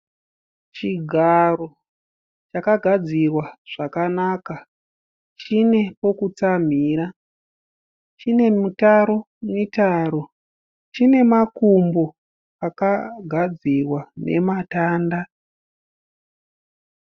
Chigaro chakagadzirwa zvakanaka. Chine pokutsamhira, chine mitaro mitaro , chine makumbo akagadzirwa nematanda.